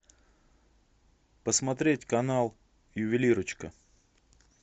посмотреть канал ювелирочка